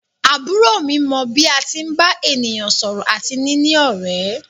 Àbúrò mi mọ bí a tí ń bá ènìyàn sọ̀rọ̀ àti níní ọ̀rẹ́.